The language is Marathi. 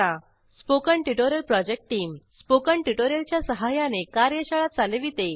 spoken tutorial project team spoken tutorial च्या सहाय्याने कार्यशाळा चालविते